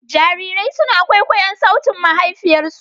Jarirai suna kwaikwayon sautin mahaifiyarsu.